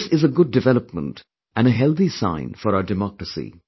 This is a good development and a healthy sign for our democracy